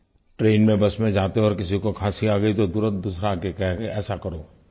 train में bus में जाते और किसी को खांसी आ गयी तो तुरंत दूसरा आकर के कहता कि ऐसा करो